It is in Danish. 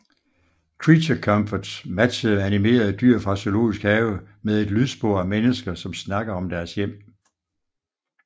Creature Comforts matchede animerede dyr fra zoologisk have med et lydspor af mennesker som snakker om deres hjem